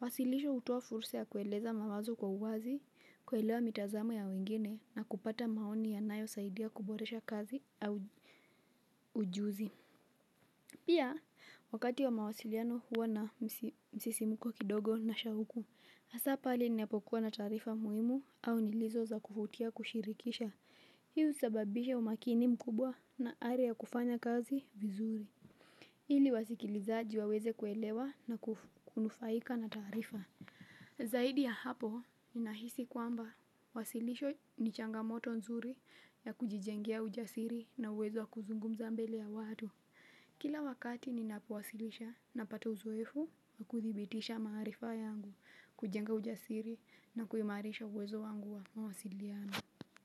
Wasilisho hutoa fursa ya kueleza mawazo kwa uwazi, kuelewa mitazamo ya wengine na kupata maoni yanayo saidia kuboresha kazi au ujuzi. Pia, wakati wa mawasiliano huwa na msisimuko kidogo na shahuku, hasa pale ninapokuwa na taarifa muhimu au nilizo za kuvutia kushirikisha. Hii husababisha umakini mkubwa na aria ya kufanya kazi vizuri. Ili wasikilizaji wa weze kuelewa na kunufaika na tarifa. Zaidi ya hapo, ni nahisi kwamba wasilisho ni changamoto nzuri ya kujijengia ujasiri nauwezo wa kuzungumza mbele ya watu. Kila wakati ninapowasilisha na pata uzoefu na kuthibitisha maarifa yangu kujenga ujasiri na kuimarisha uwezo wangu wa mawasiliano.